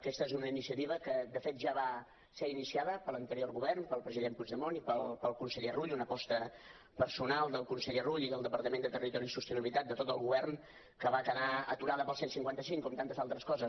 aquesta és una iniciativa que de fet ja va ser iniciada per l’anterior govern pel president puigdemont i pel conseller rull una aposta personal del conseller rull i del departament de territori i sostenibilitat de tot el govern que va quedar aturada pel cent i cinquanta cinc com tantes altres coses